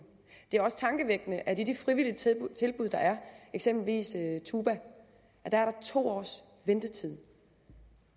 det er også tankevækkende at i de frivillige tilbud tilbud der er eksempelvis tuba er der to års ventetid